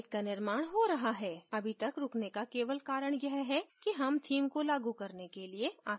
अभी तक रूकने का केवल कारण यह है कि हम theme को लागू करने के लिए आखिरी तक रूक सकते हैं